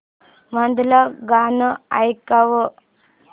मधलं गाणं ऐकव